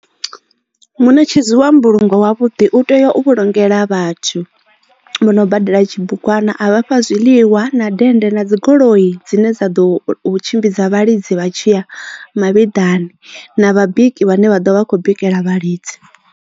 Muṋetshedzi wa mbulungo wavhuḓi u tea u vhulungela vhathu vho no badela tshibugwana a vha fha zwiḽiwa na dende na dzigoloi dzine dza ḓo u tshimbidza vhalidzi vha tshiya mavhiḓani na vhabiki vhane vha ḓo vha vha kho bikela vhalidzi.